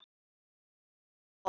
sem er jafnt og